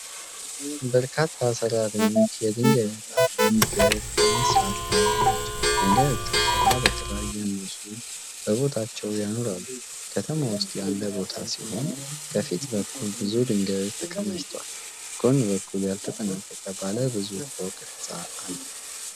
በርካታ ሠራተኞች የድንጋይ ንጣፍ መንገድ በመሥራት ላይ ናቸው። ድንጋዮቹን ተራ በተራ እያነሱ በቦታቸው ያኖራሉ። ከተማ ውስጥ ያለ ቦታ ሲሆን ከፊት በኩል ብዙ ድንጋዮች ተከማችተዋል። ከጎን በኩል ያልተጠናቀቀ ባለ ብዙ ፎቅ ሕንፃ አለ።